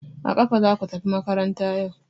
A kafa zaku tafi makaranta yau!